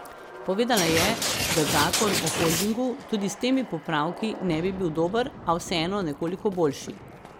Povedala je, da zakon o holdingu tudi s temi popravki ne bi bil dober, a vseeno nekoliko boljši.